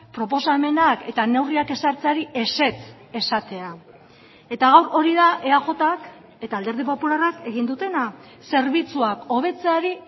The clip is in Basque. proposamenak eta neurriak ezartzeari ezetz esatea eta gaur hori da eajk eta alderdi popularrak egin dutena zerbitzuak hobetzeari